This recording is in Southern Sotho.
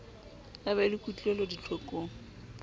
a be le kutlwelo ditlhokong